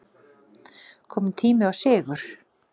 Kominn tími á sigur